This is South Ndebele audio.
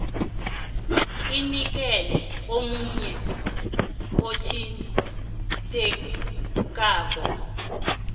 inikelwe omunye othintekako